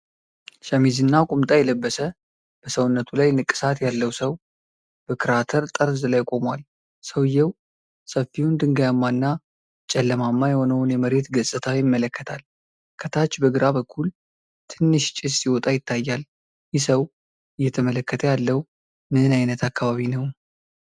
ሸሚዝና ቁምጣ የለበሰ፣ በሰውነቱ ላይ ንቅሳት ያለው ሰው በክራተር ጠርዝ ላይ ቆሟል። ሰውየው ሰፊውን፣ ድንጋያማና ጨለማማ የሆነውን የመሬት ገጽታ ይመለከታል። ከታች በግራ በኩል ትንሽ ጭስ ሲወጣ ይታያል። ይህ ሰው እየተመለከተ ያለው ምን ዓይነት አካባቢ ነው?